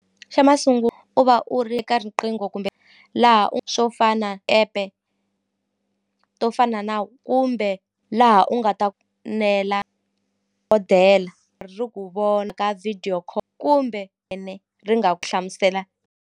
Xa u va u ri eka riqingho kumbe laha u swo fana app-e to fana na kumbe laha u nga ta nela ri ku vona ka video kumbe ene ri nga ku hlamusela.